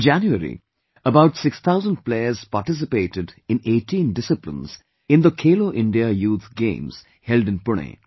In January about 6,000 players participated in 18 disciplines in the Khelo India Youth Games held in Pune